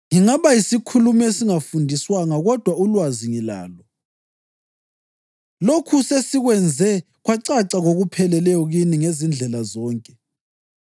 Ngingaba yisikhulumi esingafundiswanga kodwa ulwazi ngilalo. Lokhu sesikwenze kwacaca ngokupheleleyo kini ngezindlela zonke.